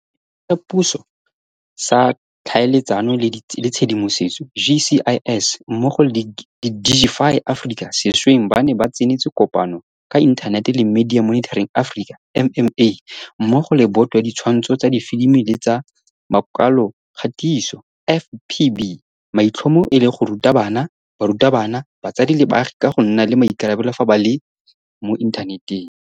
Setheo sa Puso sa Tlhaeletsano le Tshedimosetso, GCIS, mmogo le Digify Africa sešweng ba ne ba tsenetse kopano ka inthanete le Media Monitoring Africa, MMA, mmogo le Boto ya Ditshwantsho tsa Difilimi le tsa Makwalokgatiso, FPB, maitlhomo e le go ruta bana, barutabana, batsadi le baagi ka go nna le maikarabelo fa ba le mo inthaneteng.